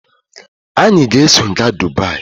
Anyị ga-eso gaa Dubaayi.